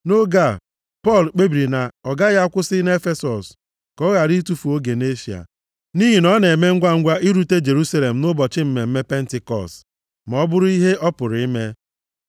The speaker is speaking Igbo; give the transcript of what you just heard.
Nʼoge a, Pọl kpebiri na ọ gaghị akwụsị nʼEfesọs ka ọ ghara itufu oge nʼEshịa, nʼihi na ọ na-eme ngwangwa irute Jerusalem nʼụbọchị mmemme Pentikọọsụ, ma ọ bụrụ ihe ọ pụrụ ime.